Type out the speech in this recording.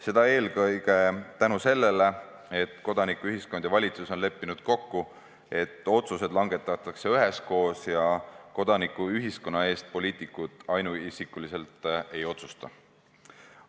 Seda eelkõige tänu sellele, et kodanikuühiskond ja valitsus on leppinud kokku, et otsused langetatakse üheskoos ja kodanikuühiskonna eest poliitikud ainuisikuliselt ei otsusta.